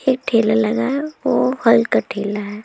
एक ठेला लगा है वह फल का ठेला है।